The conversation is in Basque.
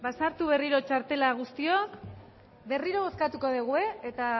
sartu berriro txartela guztiok berriro bozkatuko dugu eta